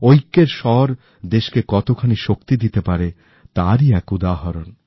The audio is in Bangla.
ঐক্যের স্বর দেশকে কতখানি শক্তি দিতে পারে তারই এক উদাহরণ